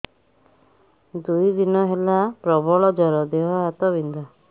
ଦୁଇ ଦିନ ହେଲା ପ୍ରବଳ ଜର ଦେହ ହାତ ବିନ୍ଧା